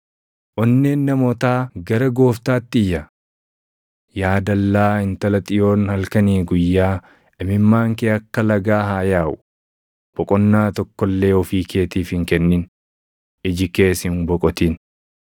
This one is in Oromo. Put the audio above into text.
Onneen namootaa gara Gooftaatti iyya. Yaa dallaa Intala Xiyoon halkanii guyyaa imimmaan kee akka lagaa haa yaaʼu; boqonnaa tokko illee ofii keetiif hin kennin; iji kees hin boqotin.